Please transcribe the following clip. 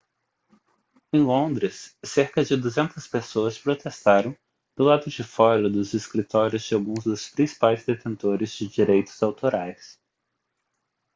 em londres cerca de 200 pessoas protestaram do lado de fora dos escritórios de alguns dos principais detentores de direitos autorais